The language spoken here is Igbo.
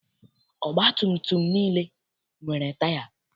Ọgbatumtum niile nwere taya.